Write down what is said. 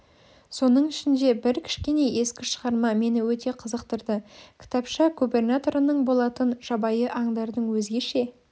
соның ішінде бір кішкене ескі шығарма мені өте қызықтырды кітапша губернаторының болатын жабайы аңдардың өзгеше